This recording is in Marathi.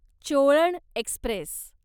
चोळण एक्स्प्रेस